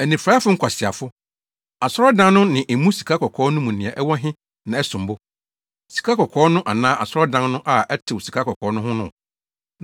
Anifuraefo nkwaseafo! Asɔredan no ne emu sikakɔkɔɔ no mu nea ɛwɔ he na ɛsom bo; sikakɔkɔɔ no anaa asɔredan no a ɛtew sikakɔkɔɔ no ho no?